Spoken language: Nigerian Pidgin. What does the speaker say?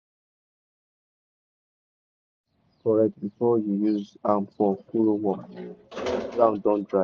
make sure say all irrigation pipe tight correct before you use am for furrow work when ground don dry.